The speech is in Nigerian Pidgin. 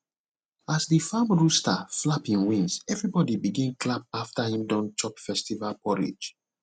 as the farm rooster flap him wings everybody begin clap after him don chop festival porridge